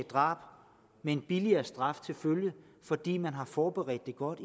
drab med en billigere straf til følge fordi man har forberedt det godt